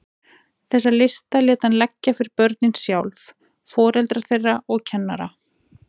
Þessa lista lét hann leggja fyrir börnin sjálf, foreldra þeirra og kennara.